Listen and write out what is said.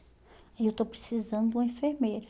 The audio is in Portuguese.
E eu estou precisando de uma enfermeira.